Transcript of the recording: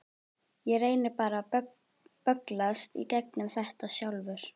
Ég reyni bara að bögglast í gegnum þetta sjálfur.